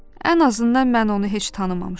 Ən azından mən onu heç tanımamışam.